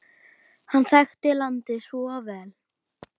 Hann þekkti landið svo vel.